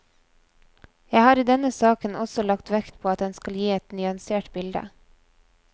Jeg har i denne saken også lagt vekt på at en skal gi et nyansert bilde.